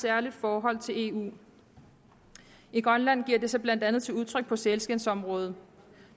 særligt forhold til eu i grønland giver det sig blandt andet udtryk på sælskindsområdet